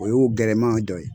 O y'o gɛlɛman dɔ ye